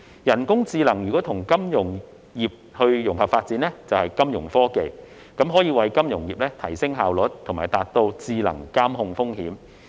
人工智能與金融產業融合發展，即金融科技，可為金融業提升效率，達到智能監控風險。